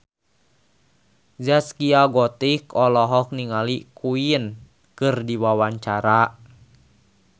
Zaskia Gotik olohok ningali Queen keur diwawancara